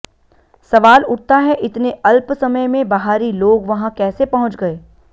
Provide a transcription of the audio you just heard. सवाल उठता है इतने अल्प समय में बहारी लोग वहां कैसे पहुंच गए